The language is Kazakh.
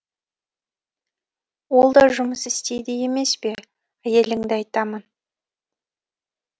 ол да жұмыс істейді емес пе әйеліңді айтамын